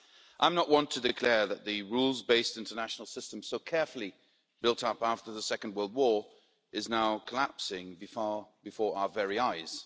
I'm not one to declare that the rules based international system so carefully built up after the Second World War is now collapsing before our very eyes.